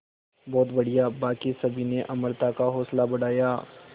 बहुत बढ़िया बाकी सभी ने अमृता का हौसला बढ़ाया